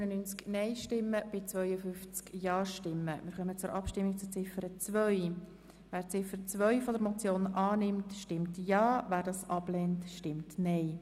Wer Ziffer 2 annehmen will, stimmt Ja, wer sie ablehnt, stimmt Nein.